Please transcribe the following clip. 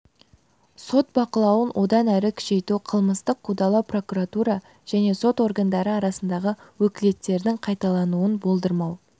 сот бақылауын одан әрі күшейту қылмыстық қудалау прокуратура және сот органдары арасындағы өкілеттіктердің қайталануын болдырмау